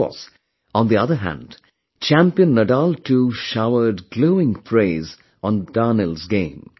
Of course, on the other hand champion Nadal too showered glowing praise on Daniil's game